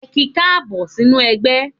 Ẹ ki káàbọ̀ sínú ẹgbẹ́.